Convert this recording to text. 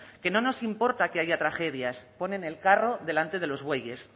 que no nos importa que haya tragedias ponen el carro delante de los bueyes